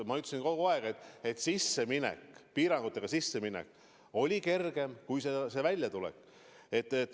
Ma ütlesin kogu aeg, et piirangute kehtestamine on kergem kui nendest väljatulek.